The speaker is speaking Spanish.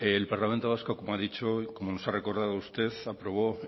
el parlamento vasco como ha dicho y como nos ha recordado usted aprobó